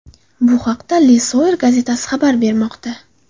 Bu haqda Le Soir gazetasi xabar bermoqda .